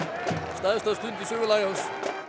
stærsta stund í sögu Lions